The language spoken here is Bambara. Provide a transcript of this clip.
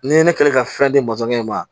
Ni ye ne kɛlen ka fɛn di masɔnkɛ ma